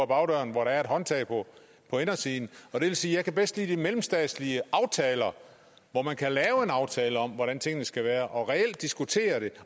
bagdøren hvor der er et håndtag på indersiden og det vil sige at jeg bedst kan lide de mellemstatslige aftaler hvor man kan lave en aftale om hvordan tingene skal være og reelt diskutere det